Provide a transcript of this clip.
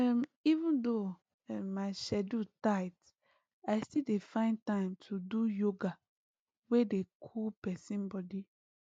um even though um my schedule tight i still dey find time do yoga wey dey cool person body